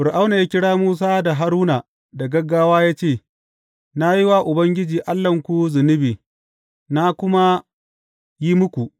Fir’auna ya kira Musa da Haruna da gaggawa ya ce, Na yi wa Ubangiji Allahnku zunubi, na kuma yi muku.